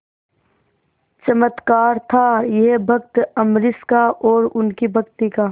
चमत्कार था यह भक्त अम्बरीश का और उनकी भक्ति का